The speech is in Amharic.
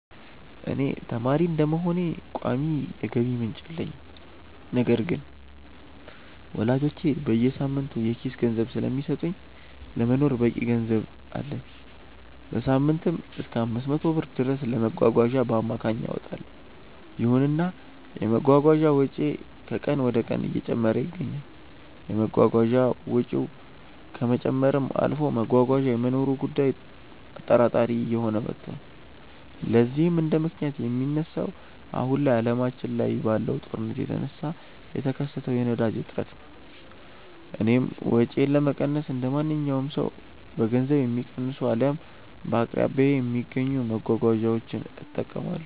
እኔ ተማሪ በመሆኔ ቋሚ የገቢ ምንጭ የለኝም። ነገር ግን ወላጆቼ በየሳምንቱ የኪስ ገንዘብ ስለሚሰጡኝ ለመኖር በቂ ገንዘብ አለኝ። በሳምንትም እሰከ 500 ብር ድረስ ለመጓጓዣ በአማካይ አወጣለው። ይሁንና የመጓጓዣ ወጪዬ ከቀን ወደቀን እየጨመረ ይገኛል። የመጓጓዣ ወጪው ከመጨመርም አልፎ መጓጓዣ የመኖሩ ጉዳይም አጠራጣሪ እየሆነ መቷል። ለዚህም እንደምክንያት የሚነሳው አሁን ላይ አለማችን ላይ ባለው ጦርነት የተነሳ የተከሰተው የነዳጅ እጥረት ነው። እኔም ወጪዬን ለመቀነስ እንደማንኛውም ሰው በገንዘብ የሚቀንሱ አልያም በአቅራቢያዬ በሚገኙ መጓጓዣዎች እጠቀማለሁ።